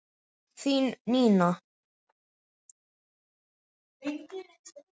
Þín Nína.